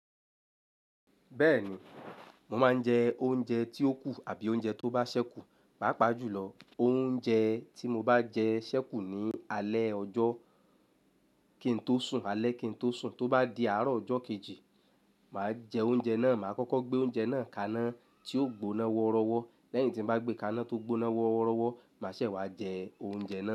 Bẹ́ẹ̀ni, mo máa ń jẹ oúnjẹ tí ó kù àbí oúnjẹ tó bá ṣẹ́kù. Pápa jùlọ, oúnjẹ tí mo bá jẹ ṣẹ́kù ní alẹ́ ọjọ́ kí n tó sùn, alẹ́ kí n tó sùn, tó bá di àárọ̀ ọjọ́ kejì, màá jẹ oúnjẹ náà. Màá kọ́kọ́ gbé oúnjẹ náà kaná tí ó gbóná horọ́wọ́. Lẹ́yìn tí mo bá gbé kaná tó gbóná woorọ́wọ́, màá ṣẹ̀ wá jẹ oúnjẹ náà.